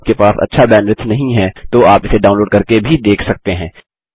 यदि आपके पास अच्छा बैंडविड्थ नहीं है तो आप इसे डाउनलोड़ करके भी देख सकते हैं